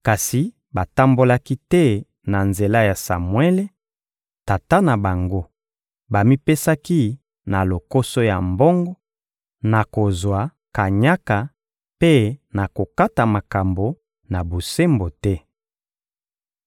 kasi batambolaki te na nzela ya Samuele, tata na bango: bamipesaki na lokoso ya mbongo, na kozwaka kanyaka mpe na kokataka makambo na bosembo te.